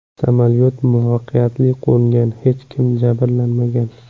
Samolyot muvaffaqiyatli qo‘ngan, hech kim jabrlanmagan.